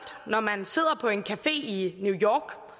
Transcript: når man sidder på en café i new york